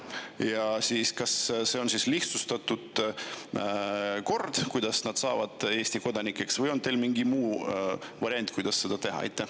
Kas lihtsustatud kord, kuidas nad saavad Eesti kodanikeks, või on teil mingi muu variant, kuidas seda teha?